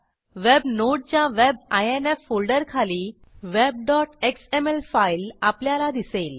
web नोडच्या web INF फोल्डरखाली web XML file आपल्याला दिसेल